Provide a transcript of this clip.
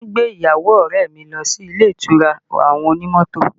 Wọn gbé ìyàwó ọrẹ mi lọ sí ilé ìtura àwọn onímọ́tò